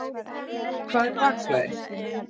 Hvað er bakflæði?